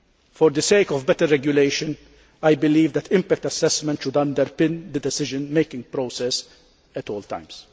For the sake of better regulation, I believe that impact assessment should underpin the decision making process at all times.